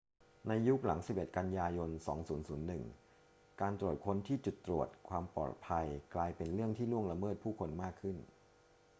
ในยุคหลัง 11 กันยายน 2001 การตรวจค้นที่จุดตรวจความปลอดภัยกลายเป็นเรื่องที่ล่วงละเมิดผู้คนมากขึ้น